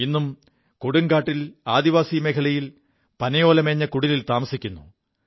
ഇും കൊടുംകാിൽ ആദിവാസി മേഖലയിൽ പനയോലമേഞ്ഞ കുടിലിൽ താമസിക്കുു